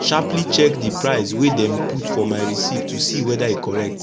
sharperly check d price wey dem put for my receipt to see weda e correct